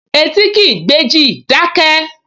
Etí kìí gbéjì, dákẹ́!